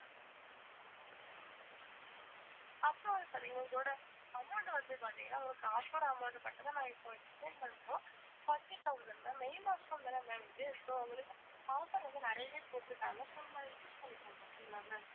first வந்து பாத்திங்கனா இதோட amount வந்து பாத்திங்கனா உங்களுக்கு offer amount மட்டும் தான் நான் இப்போ explain பண்றோம் forty thousand ma'am மே மாசம் தான ma'am இது so உங்களுக்கு offer வந்து நெறையவே போட்டுருக்காங்க so நீங்க அதை use பண்ணிக்கோங்க okay ங்களா ma'am